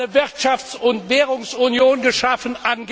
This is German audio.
Wir haben angeblich eine Wirtschafts und Währungsunion geschaffen.